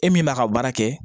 E min b'a ka baara kɛ